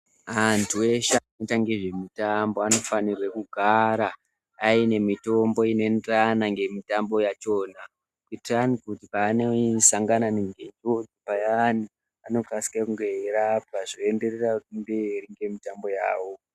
Antu eshe anoita ngezvemutambo anofanire kugara aine mitombo inoenderana ngemutambo yavhona kuitirani kuti paanosangana nembiko payani anokasike kunge eirapa zvoenderera mberi ngemitambo yawo.